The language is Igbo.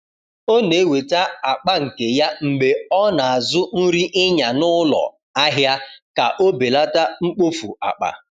O na-eweta akpa nke ya mgbe ọ na-azụ nri ịnya n’ụlọ ahịa ka o belata mkpofu akpa.